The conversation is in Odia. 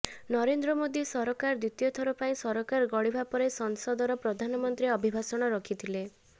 ନରେନ୍ଦ୍ର ମୋଦି ସରକାର ଦ୍ୱିତୀୟ ଥର ପାଇଁ ସରକାର ଗଢ଼ିବା ପରେ ସଂସଦର ପ୍ରଧାନମନ୍ତ୍ରୀ ଅଭିଭାଷଣ ରଖିଥିଲେ